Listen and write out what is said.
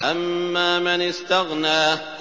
أَمَّا مَنِ اسْتَغْنَىٰ